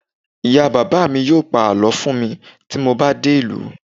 ìyá bàbá mi yíò pa àlọ fún mi ti mo ba dé ìlú